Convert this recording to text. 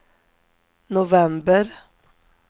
november